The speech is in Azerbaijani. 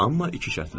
Amma iki şərtlə.